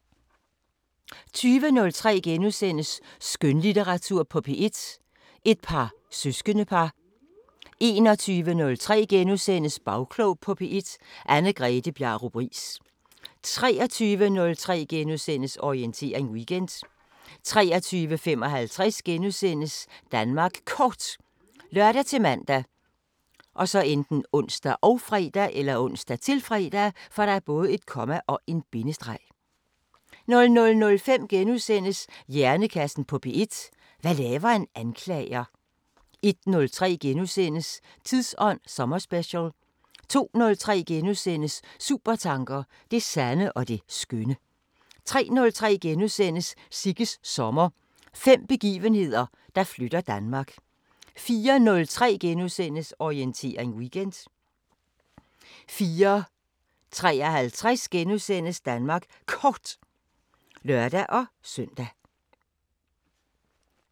20:03: Skønlitteratur på P1: Et par søskendepar * 21:03: Bagklog på P1: Anne-Grethe Bjarup Riis * 23:03: Orientering Weekend * 23:55: Danmark Kort *( lør-man, ons, -fre) 00:05: Hjernekassen på P1: Hvad laver en anklager? * 01:03: Tidsånd sommerspecial * 02:03: Supertanker: Det sande og det skønne * 03:03: Sigges sommer – fem begivenheder, der flytter Danmark * 04:03: Orientering Weekend * 04:53: Danmark Kort *(lør-søn)